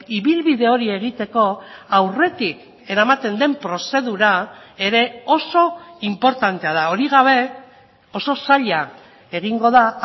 ibilbide hori egiteko aurretik eramaten den prozedura ere oso inportantea da hori gabe oso zaila egingo da